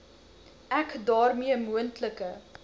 ek daarmee moontlike